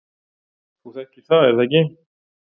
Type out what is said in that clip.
Þú þekkir það er það ekki?